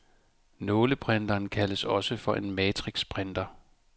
Nåleprinteren kaldes også for en matrixprinter.